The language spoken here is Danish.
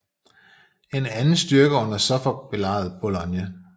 En anden styrke under Suffolk belejrede Boulogne